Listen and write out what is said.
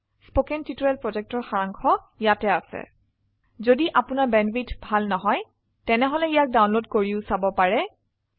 1 কথন শিক্ষণ প্ৰকল্পৰ সাৰাংশ ইয়াত আছে যদি আপোনাৰ বেণ্ডৱিডথ ভাল নহয় তেনেহলে ইয়াক ডাউনলোড কৰি চাব পাৰে